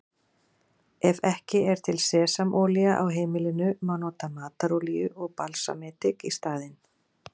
Ef ekki er til sesamolía á heimilinu má nota matarolíu og balsamedik í staðinn.